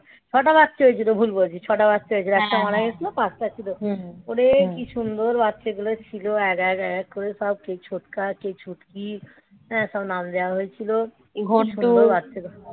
ছটা বাচ্চা হয়েছিল ভুল বলছি. ছটা বাচ্চা হয়েছে. একটা মারা গেছিল. পাঁচটা ছিল ওরে কি সুন্দর বাচ্চাগুলো ছিল. এক এক করে সব, কে ছোটকা, কে ছুটকি. হ্যাঁ সব নাম দেওয়া হয়েছিল. কি সুন্দর বাচ্চা